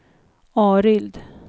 Arild